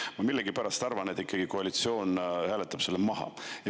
Ma millegipärast arvan, et koalitsioon hääletab selle ikkagi maha.